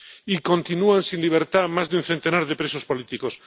Y continúan sin libertad más de un centenar de presos políticos.